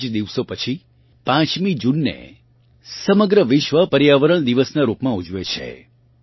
થોડાંક જ દિવસો પછી 5મી જૂનને સમગ્ર વિશ્વ પર્યાવરણ દિવસ નાં રૂપમાં ઊજવે છે